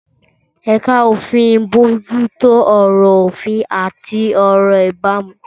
Ẹ̀ka òfin ń bójú tó ọ̀rọ̀ òfin àti ọ̀rọ̀ ìbámu.